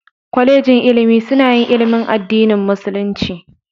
Kwalejin ilimi suna yin ilimin addinin musulunci.